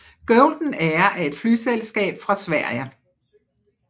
Golden Air er et flyselskab fra Sverige